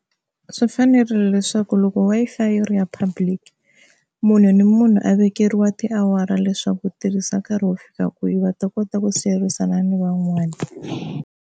Swi fanerile leswaku loko Wi-Fi yi ri ya public munhu ni munhu a vekeriwa tiawara leswaku u tirhisa nkarhi wo fika kwihi va ta kota ku siyerisana ni van'wani.